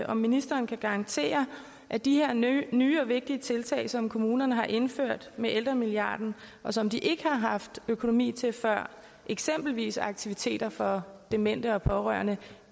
om ministeren kan garantere at de her nye og vigtige tiltag som kommunerne har indført med ældremilliarden og som de ikke har haft økonomi til før eksempelvis aktiviteter for demente og pårørende